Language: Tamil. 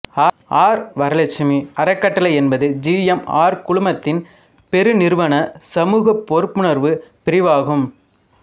ஆர் வரலட்சுமி அறக்கட்டளை என்பது ஜி எம் ஆர் குழுமத்தின் பெருநிறுவன சமூக பொறுப்புணர்வு பிரிவு ஆகும்